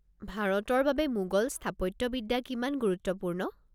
ভাৰতৰ বাবে মোগল স্থাপত্যবিদ্যা কিমান গুৰুত্বপূৰ্ণ?